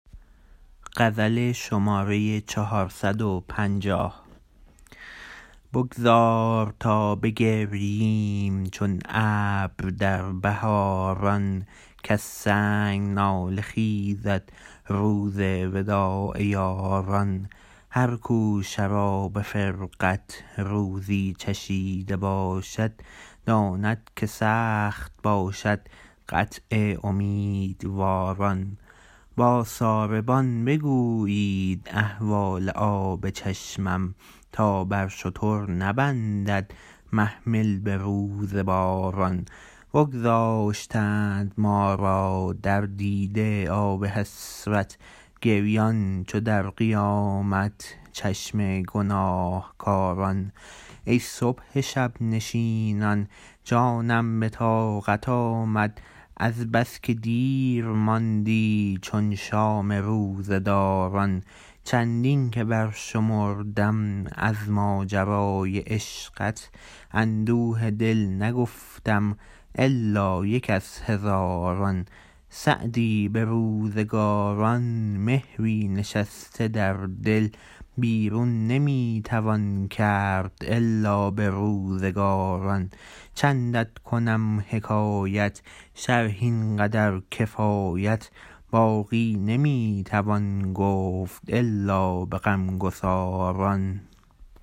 بگذار تا بگرییم چون ابر در بهاران کز سنگ گریه خیزد روز وداع یاران هر کو شراب فرقت روزی چشیده باشد داند که سخت باشد قطع امیدواران با ساربان بگویید احوال آب چشمم تا بر شتر نبندد محمل به روز باران بگذاشتند ما را در دیده آب حسرت گریان چو در قیامت چشم گناهکاران ای صبح شب نشینان جانم به طاقت آمد از بس که دیر ماندی چون شام روزه داران چندین که برشمردم از ماجرای عشقت اندوه دل نگفتم الا یک از هزاران سعدی به روزگاران مهری نشسته در دل بیرون نمی توان کرد الا به روزگاران چندت کنم حکایت شرح این قدر کفایت باقی نمی توان گفت الا به غمگساران